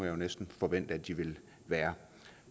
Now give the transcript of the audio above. jo næsten forvente at de vil være